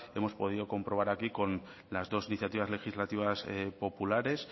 hemos podido comprobar aquí con las dos iniciativas legislativas populares